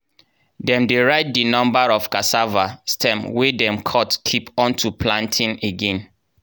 dem dey write di numba of cassava stem wey dem cut keep unto planting again.